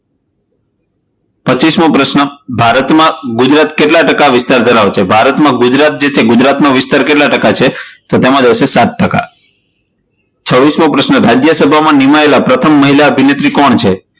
પચિસમો પ્રશ્ન ભારત માં ગુજરાત કેટલા ટકા વિસ્તાર ધરાવે છે? ભારતમાં ગુજરાત જે છે એટલે કે ગુજરાત નો વિસ્તાર કેટલા ટકા છે? તો તેમાં જવાબ આવશે સાત ટકા. છવીસમો પ્રશ્ન, રાજ્યસભામાં નિમાયેલા પ્રથમ મહિલા અભિનેત્રી કોણ છે?